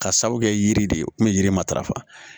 Ka sabu kɛ yiri de ye yiri matarafa